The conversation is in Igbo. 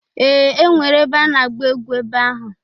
Ee! E nwere ebe a na-agba egwu ebe ahụ.